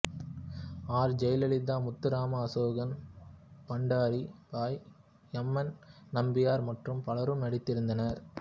R Jayalalithaa Muthuraman Asokan Pandari Bai M N Nambiar மற்றும் பலரும் நடித்திருந்தனர்